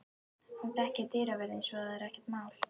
Hann þekkir dyravörðinn svo að það er ekkert mál.